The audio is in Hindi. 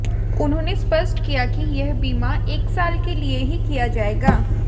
उन्होंने स्पष्ट किया कि यह बीमा एक साल के लिए ही किया जाएगा